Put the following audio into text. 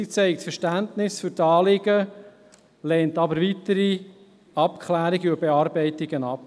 Sie zeigt Verständnis für die Anliegen, lehnt aber weitere Abklärungen und Bearbeitungen ab.